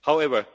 However,